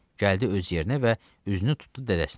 Gəldi öz yerinə və üzünü tutdu dədəsinə.